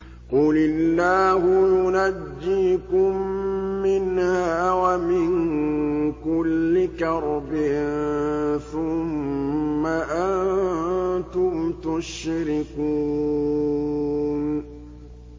قُلِ اللَّهُ يُنَجِّيكُم مِّنْهَا وَمِن كُلِّ كَرْبٍ ثُمَّ أَنتُمْ تُشْرِكُونَ